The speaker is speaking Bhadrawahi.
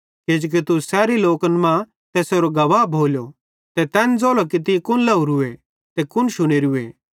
किजोकि तू सैरी लोकन मां तैसेरो गवाह भोलो ते तैन ज़ोलो कि तीं कुन लाहेरूए ते कुन शुनेरूए